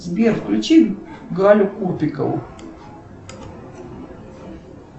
сбер включи галю купикову